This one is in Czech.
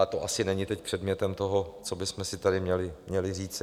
Ale to asi není teď předmětem toho, co bychom si tady měli říci.